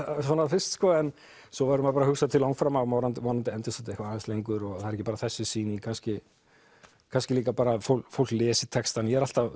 fyrst en svo verður að hugsa til langframa að vonandi endist þetta eitthvað lengur og það er ekki bara þessi sýning kannski kannski líka að fólk fólk lesi textann ég er alltaf